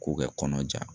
K'u kɛ kɔnɔ ja